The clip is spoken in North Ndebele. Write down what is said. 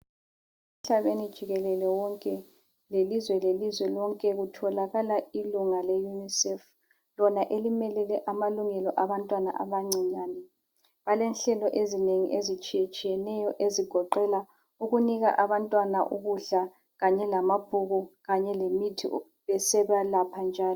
Emhlabeni jikelele wonke lelizwe lelizwe lonke kutholakala ilunga leUNICEF lona elimelele amalungelo abantwana abancinyane balenhlelo ezinengi ezitshiye tshiyeneyo ezigoqela ukunika abantwana ukudla kanye lamabhuku kanye lemithi besebalapha njalo.